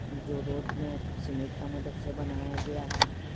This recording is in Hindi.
जो रोड में सीमेंट का मदद से बनाया गया है।